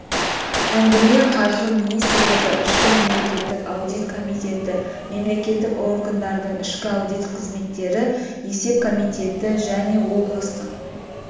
әңгіме қаржы министрлігі ішкі мемлекеттік аудит комитеті мемлекеттік органдардың ішкі аудит қызметтері есеп комитеті және облыстық